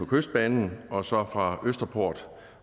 kystbanen og så er der fra østerport